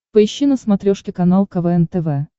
поищи на смотрешке канал квн тв